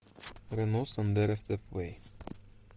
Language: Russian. рено сандеро степвей